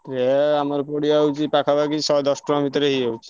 କ୍ରେୟ ଆମର ପଡ଼ିଯାଉଛି ପାଖାପାଖି ଶହେଦଶ ଟଙ୍କା ଭିତରେ ହେଇଯାଉଛି।